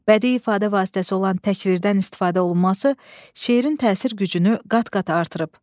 Bədii ifadə vasitəsi olan təkrirdən istifadə olunması şeirin təsir gücünü qat-qat artırıb.